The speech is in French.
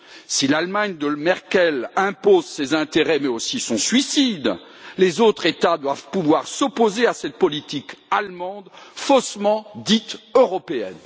Si l'Allemagne de Mme Merkel impose ses intérêts, mais aussi son suicide, les autres États doivent pouvoir s'opposer à cette politique allemande prétendument européenne.